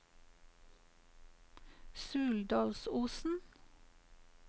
Suldalsosen